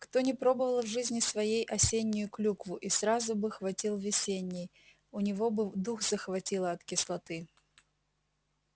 кто не пробовала в жизни своей осеннюю клюкву и сразу бы хватил весенней у него был дух захватило от кислоты